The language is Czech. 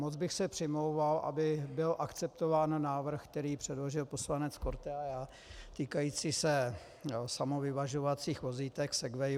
Moc bych se přimlouval, aby byl akceptován návrh, který předložil poslanec Korte, týkající se samovyvažovacích vozítek Segway.